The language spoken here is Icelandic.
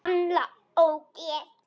Gamla ógeð!